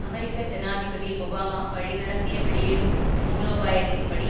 அமெரிக்க ஜனாதிபதி ஒபாமா வழிநடத்திய வெளியேறும் மூலோபாயத்தின்படி